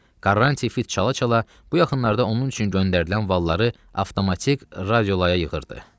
Quaranti fit çala-çala bu yaxınlarda onun üçün göndərilən valları avtomatik radiolaya yığırdı.